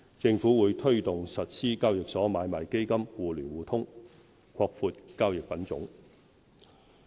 政府會推動實施交易所買賣基金互聯互通，擴闊交易品種。